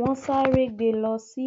wọn sáré gbé e lọ sí